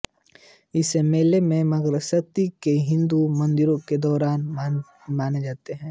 इस मेले को मार्गशीर्ष के हिंदू महीने के दौरान मनाते है